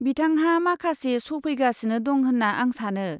बिथांहा माखासे श' फैगासिनो दं होन्ना आं सानो।